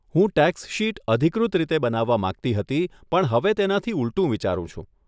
હું tax sheet અધિકૃત રીતે બનાવવા માંગતી હતી પણ હવે તેનાથી ઉલટું વિચારું છું.